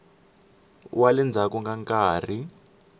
wa le ndzhaku ka nkarhi